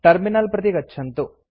terminal प्रति गच्छन्तु